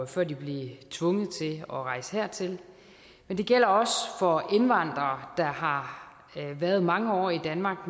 før de blev tvunget til at rejse hertil men det gælder også for indvandrere der har været mange år i danmark